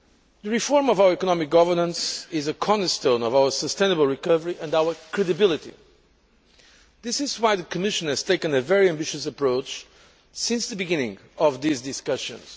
The reform of our economic governance is a cornerstone of our sustainable recovery and our credibility. This is why the Commission has taken a very ambitious approach since the beginning of these discussions.